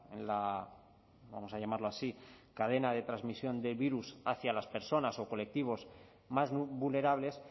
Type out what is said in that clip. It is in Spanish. en la vamos a llamarlo así cadena de transmisión del virus hacia las personas o colectivos más vulnerables